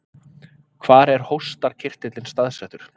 Hvar er hóstarkirtillinn staðsettur?